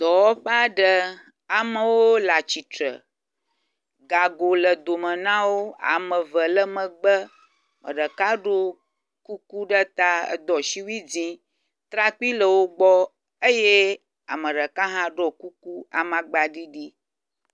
dɔaɔƒe aɖe. amewo le atsitre. Gago le dome na wo ame eve le megbe. Ame ɖeka ɖo kuku ɖe ta eɖo asiwui dzi. Trakpi le wo gbɔ eye ame ɖeka hã ɖo kuku amagba ɖiɖi.